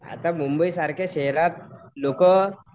आता मुंबईसारख्या शहरात लोकं